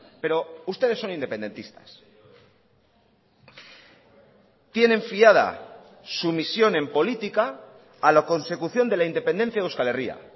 pero ustedes son independentistas tienen fiada su misión en política a la consecución de la independencia de euskal herria